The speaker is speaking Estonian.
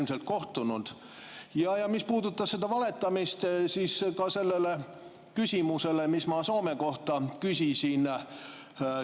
Mis puudutab valetamist, siis ka selle küsimuse puhul, mis ma Soome kohta küsisin.